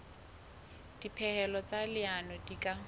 dipehelo tsa leano di ka